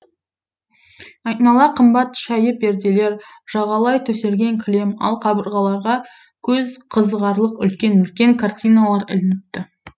айнала қымбат шәйі перделер жағалай төселген кілем ал қабырғаларға көз қызығарлық үлкен үлкен картиналар ілініпті